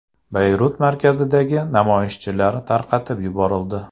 Bayrut markazidagi namoyishchilar tarqatib yuborildi.